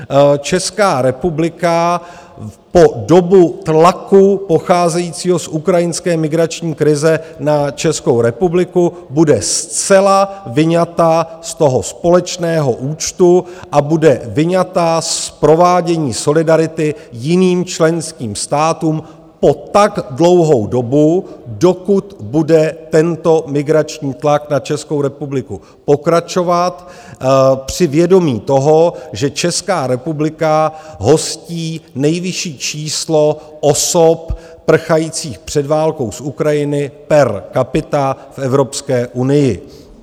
Česká republika po dobu tlaku pocházejícího z ukrajinské migrační krize na Českou republiku bude zcela vyňata z toho společného účtu a bude vyňata z provádění solidarity jiným členským státům po tak dlouhou dobu, dokud bude tento migrační tlak na Českou republiku pokračovat, při vědomí toho, že Česká republika hostí nejvyšší číslo osob prchajících před válkou z Ukrajiny per capita v Evropské unii.